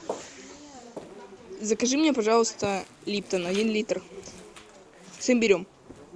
закажи мне пожалуйста липтон один литр с имбирем